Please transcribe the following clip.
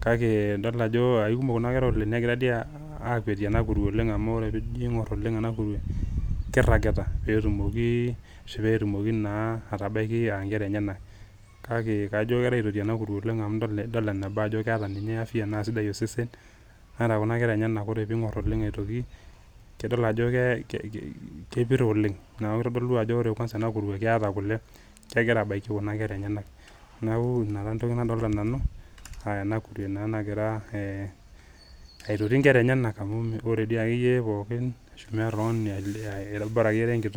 Kake idol ajo kikumok kuna kera oleng, negira dii akwetie ena kurue amu ore tenijo aingor oleng ena kurue , kiragita petumoki ashu petumoki naa atabaiki inkera enyenak. Kake kajo kengirae aitoti ena kurue amu idol eneba amu keeta ninye afya naa sidai osesen ata kuna kera enyenak , ore pingor oleng aitoti , nidol ajo kepir oleng niaku kitodolu kwansa ore ena kurue keeta kule kegira abaiki kuna kera enyenak. Niaku ina taa entoki nadolita nanu aa ena kurue naa nagira aitoti nkera enyenak amu ore di ake pookin , bora akeyie ira enkitok.